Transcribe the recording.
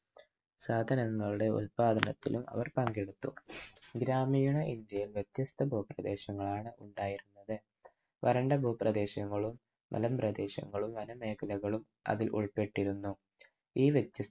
സാധനങ്ങളുടെ ഉൽപാദനത്തിലും അവർ പങ്കെടുത്തു. ഗ്രാമീണ ഇന്ത്യയിൽ വ്യത്യസ്ഥ ഭൂപ്രദേശങ്ങളാണ് ഉണ്ടായിരുന്നത് വരണ്ട ഭൂപ്രദേശങ്ങളും മലം പ്രദേശങ്ങളും വന മേഖലകളും അതിൽ ഉൾപ്പെട്ടിരുന്നു. ഈ വ്യത്യസ്ഥ